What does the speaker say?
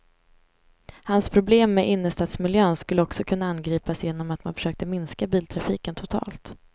Hans problem med innerstadsmiljön skulle också kunna angripas genom att man försökte minska biltrafiken totalt.